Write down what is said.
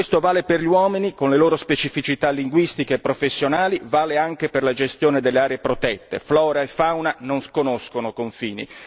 Questo vale per gli uomini con le loro specificità linguistiche e professionali vale anche per la gestione delle aree protette flora e fauna non conoscono confini.